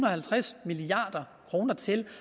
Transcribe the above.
og halvtreds milliard kroner til